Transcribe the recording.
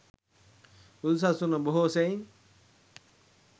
බුදු සසුන බොහෝ සෙයින්